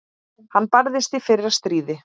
Hann barðist í fyrra stríði.